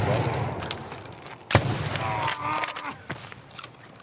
баллы лояльность